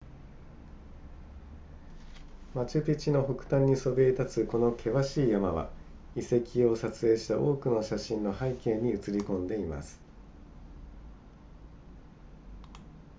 マチュピチュの北端にそびえ立つこの険しい山は遺跡を撮影した多くの写真の背景に映りこんでいます